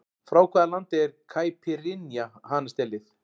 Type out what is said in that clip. Frá hvaða landi er Caipirinha hanastélið?